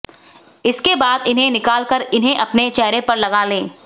इसके बाद इन्हें निकाल कर इन्हें अपने चेहरे पर लगा लें